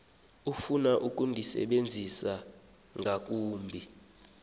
ofuna ukundisebenzisa ngakumbi